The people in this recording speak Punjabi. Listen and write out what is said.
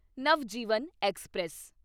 ਨਵਜੀਵਨ ਐਕਸਪ੍ਰੈਸ